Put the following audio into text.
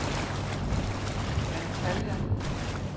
Antalya